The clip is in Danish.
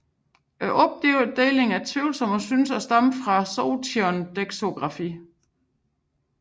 Opdelingen er tvivlsom og synes at stamme fra Sotion doxografi